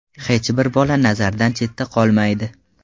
Hech bir bola nazardan chetda qolmaydi.